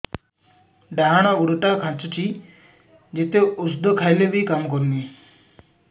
ଡାହାଣ ଗୁଡ଼ ଟା ଖାନ୍ଚୁଚି ଯେତେ ଉଷ୍ଧ ଖାଉଛି କାମ କରୁନି